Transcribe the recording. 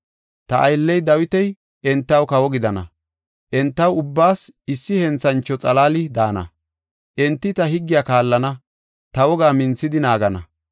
“Ta aylley Dawiti enta kawo gidana; entaw ubbaas issi henthancho xalaali daana. Enti ta higgiya kaallana; ta wogaa minthidi naagana.